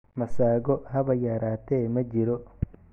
Masago haba yaraatee ma jiro.